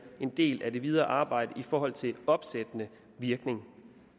en del af det videre arbejde i forhold til en opsættende virkning